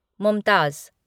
Mumtaz